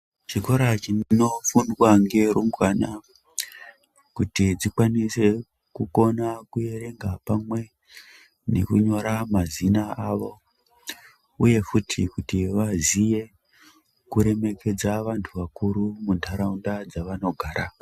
Chikora chinofundwa ngerumbwana, kuti dzikwanise kukona kuerenga, pamwe nekunyora mazina avo, uye futi kuti vaziye kuremekedza vanthu vakuru muntharaunda dzavanogara.